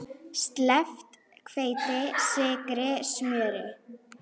Sleppt hveiti, sykri, smjöri.